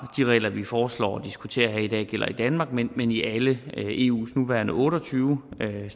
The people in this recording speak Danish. de regler vi foreslår og diskuterer her i dag gælder i danmark men men i alle eus nuværende otte og tyve lande